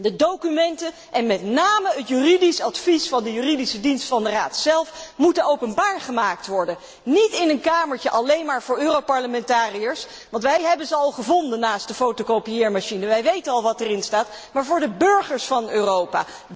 De documenten, en met name het juridisch advies van de Juridische dienst van de Raad zelf, moeten openbaar gemaakt worden, niet in een kamertje alleen maar voor Europarlementariërs, want wij hebben ze al gevonden naast de fotokopieermachine, wij weten al wat erin staat, maar voor de burgers van Europa.